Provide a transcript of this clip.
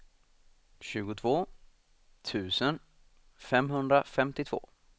tjugotvå tusen femhundrafemtiotvå